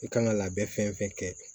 I kan ka labɛn fɛn fɛn kɛ